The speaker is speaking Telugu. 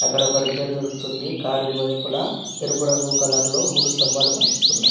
ఇక్కడ ఒక రిపేర్ జరుగుతుంది కారు ఇరువైపుల ఎరుపు రంగు కలర్ లో మూడు స్తంబాలు కనిపిస్తున్నాయి.